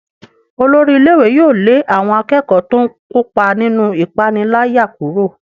Olórí ilé-ìwé yóò lé àwọn akẹ́kọ̀ọ́ tó ń kópa nínú ìpániláyà kúrò.